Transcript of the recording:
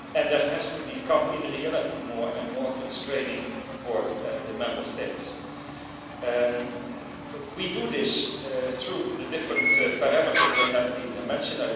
That has to become in reality more and more constraining for the Member States. We do this through the different parameters that have been mentioned.